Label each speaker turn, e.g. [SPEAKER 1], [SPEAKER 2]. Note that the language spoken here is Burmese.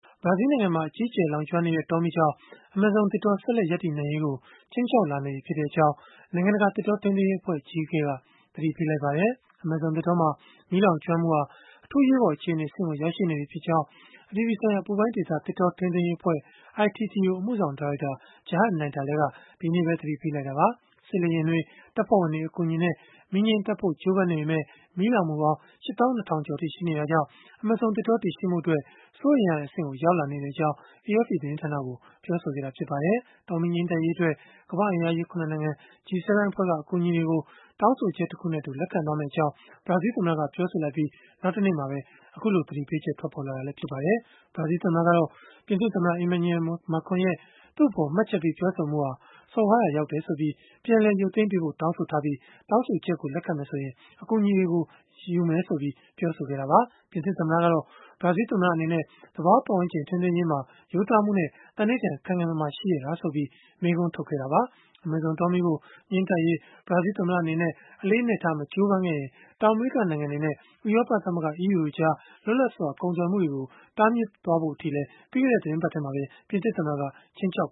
[SPEAKER 1] ဘရာဇီးနိုင်ငံမှာ အကြီးအကျယ် လောင်ကျွမ်းနေတဲ့ တောမီးကြောင့် အမေဇုံသစ်တော ဆက်လက်ရပ်တည်နိုင်ရေးကို ခြိမ်းခြောက် လာနေပြီဖြစ်ကြောင်း နိုင်ငံတကာ သစ်တောထိန်းသိမ်းရေးအဖွဲ့ အကြီးအကဲက သတိပေးလိုက်ပါတယ်။ အမေဇုံသစ်တောမှာ မီးလောင်ကျွမ်းမှုဟာ အထူးအရေးပေါ် အခြေအနေ အဆင့်ကို ရောက်ရှိနေပြီဖြစ်ကြောင်း အပြည်ပြည်ဆိုင်ရာ အပူပိုင်းဒေသ သစ်တော ထိန်းသိမ်းရေး အဖွဲ့ (ITTO) အမှုဆောင် ဒါရိုက်တာ Gerhard Dieterle က ဒီကနေ့ပဲ သတိပေးလိုက်တာပါ။ စစ်လေယာဉ်တွေ၊ တပ်ဖွဲ့ဝင်တွေ အကူအညီနဲ့ မီးငြိမ်းသတ်ဖို့ ကြိုးပမ်းနေပေမဲ့ မီးလောင်မှုပေါင်း ၈၂,၀၀၀ ကျော်အထိ ရှိနေတာကြောင့် အမေဇုံသစ်တော တည်ရှိမှုအတွက် စိုးရိမ်ရတဲ့ အဆင့်ကိုရောက်လာနေကြောင်း AFP သတင်းဌာနကို ပြောဆိုခဲ့တာ ဖြစ်ပါတယ်။ တောမီးငြိမ်းသတ်ရေးအတွက် ကမ္ဘာ့အင်အားကြီး ၇ နိုင်ငံ (G-7) အဖွဲ့က အကူအညီတွေကို တောင်းဆိုချက်တခုနဲ့အတူ လက်ခံမယ့်အကြောင်း ဘရာဇီးသမ္မတ Jair Bolsonaro ကပြောဆိုလိုက်ပြီး နောက်တနေ့မှာပဲ အခုလို သတိပေးချက် ထွက်ပေါ်လာတာလည်း ဖြစ်ပါတယ်။ ဘရာဇီးသမ္မတကတော့ ပြင်သစ်သမ္မတ Emmanuel Macron ရဲ့ သူ့အပေါ် မှတ်ချက်ပေး ပြောဆိုမှုဟာ စော်ကားရာရောက်တယ်ဆိုပြီး ပြန်လည်ရုပ်သိမ်းပေးဖို့ တောင်းဆိုထားပြီး၊ တောင်းဆိုချက်ကို လက်ခံမယ်ဆိုရင် အကူအညီတွေကို လက်ခံမယ့်အကြောင်း ပြောဆိုခဲ့တာပါ။ ပြင်သစ်သမ္မတကတော့ ဘရာဇီးသမ္မတ အနေနဲ့ သဘာဝပတ်ဝန်းကျင် ထိန်းသိမ်းရေးအတွက် ရိုးသားမှုနဲ့ သန္နိဌာန် ခိုင်ခိုင်မာမာ ရှိရဲ့လားဆိုပြီး မေးခွန်းထုတ်ခဲ့တာပါ။ အမေဇုံ တောမီးကို ငြိမ်းသတ်ရေး ဘရာဇီးသမ္မတ အနေနဲ့ အလေးအနက်ထား မကြိုးပမ်းခဲ့ရင် တောင်အမေရိက နိုင်ငံတွေနဲ့ ဥရောပသမဂ္ဂ (EU) ကြား လွတ်လပ်စွာ ကုန်သွယ်မှုတွေကို တားမြစ်ဖို့အထိလည်း ပြီးခဲ့တဲ့ သီတင်းပတ်ထဲမှာပဲ ပြင်သစ်သမ္မတက ခြိမ်းခြောက်